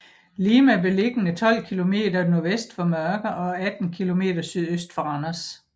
Lime er beliggende 12 kilometer nordvest for Mørke og 18 kilometer sydøst for Randers